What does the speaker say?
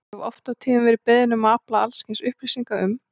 Ég hef oft og tíðum verið beðinn um að afla alls kyns upplýsinga um